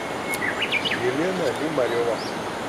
елена лимарева